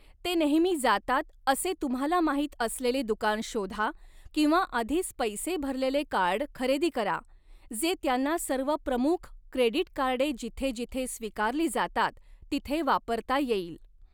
ते नेहमी जातात असे तुम्हाला माहित असलेले दुकान शोधा किंवा आधीच पैसे भरलेले कार्ड खरेदी करा, जे त्यांना सर्व प्रमुख क्रेडिट कार्डे जिथे जिथे स्वीकारली जातात तिथे वापरता येईल. .